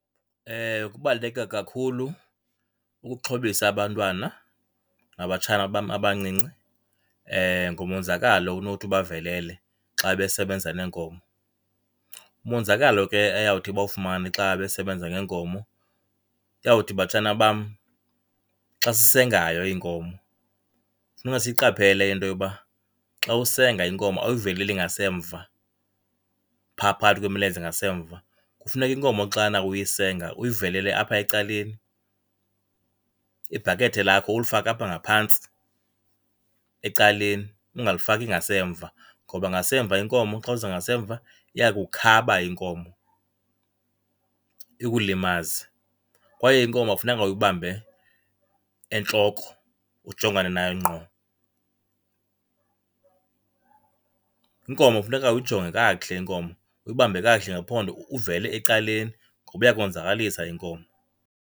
Kubaluleke kakhulu ukuxhobisa abantwana nabatshana bam abancinci ngomonzakalo onothi ubavelele xa besebenza neenkomo. Umonzakalo ke eyawuthi bawufumane xa besebenza ngeenkomo uyawuthi, batshana bam, xa sisengayo iinkomo kufuneka siyiqaphele into yoba xa usenga inkomo awuyiveleli ngasemva, pha phakathi kwemilenze ngasemva, kufuneka inkomo xana uyisenga uyivelele apha ecaleni. Ibhakethe lakho ulifake apha ngaphantsi ecaleni ungalifaki ngasemva ngoba ngasemva inkomo xa uza ngasemva iya kukukhaba inkomo ikulimaze. Kwaye inkomo akufunekanga uyibambe entloko ujongane nayo ngqo, inkomo kufuneka uyijonge kakuhle inkomo, uyibambe kakuhle ngephondo uvele ecaleni ngoba iyakukonzakalisa inkomo.